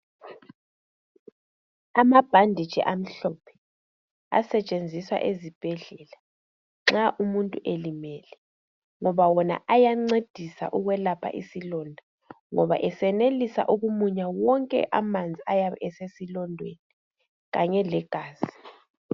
Amabhanditshi amhlophe asetshenziswa ezibhedlela nxa umuntu elimele ngoba wona ayancedisa ukwelapha isilonda ngoba esenelisa ukumunya wonke amanzi ayabe esesilondeni kanye legazi.